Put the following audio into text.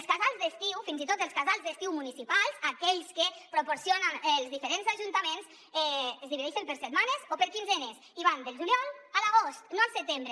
els casals d’estiu fins i tot dels casals d’estiu municipals aquells que proporcionen els diferents ajuntaments es divideixen per setmanes o per quinzenes i van del juliol a l’agost no al setembre